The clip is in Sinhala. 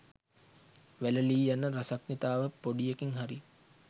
වැලලී යන රසඥතාව පොඩියකින් හරි